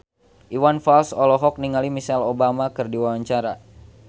Iwan Fals olohok ningali Michelle Obama keur diwawancara